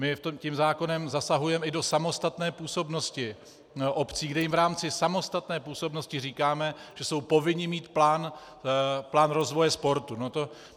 My tím zákonem zasahujeme i do samostatné působnosti obcí, kde jim v rámci samostatné působnosti říkáme, že jsou povinni mít plán rozvoje sportu.